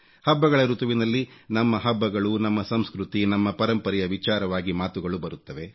ಹಬ್ಬಗಳ ಋತುವಿನಲ್ಲಿ ನಮ್ಮ ಹಬ್ಬಗಳು ನಮ್ಮ ಸಂಸ್ಕೃತಿ ನಮ್ಮ ಪರಂಪರೆಯ ವಿಚಾರವಾಗಿ ಮಾತುಗಳು ಬರುತ್ತವೆ